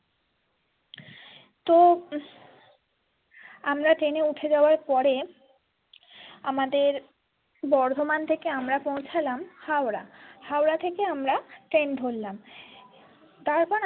তো উম আমরা train এ উঠে যাবার পরে আমাদের বর্ধমান থেকে আমরা পৌঁছালাম হাওড়া হাওড়া থেকে আমরা train ধরলাম তারপরে।